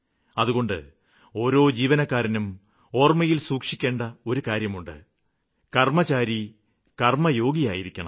അതുകൊണ്ട് ഓരോ ജീവനക്കാരനും ഓര്മ്മയില് സൂക്ഷിക്കേണ്ട ഒരു കാര്യമുണ്ട് കര്മ്മചാരി കര്മ്മയോഗിയായിരിക്കണം